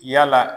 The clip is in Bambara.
Yala